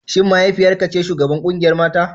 Shin mahaifiyar ka ce shugabar kungiyar mata?